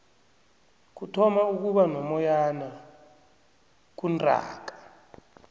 kuthoma ukuba nomoyana kuntaaka